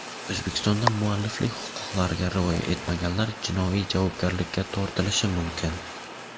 O‘zbekistonda mualliflik huquqlariga rioya etmaganlar jinoiy javobgarlikka tortilishi mumkin.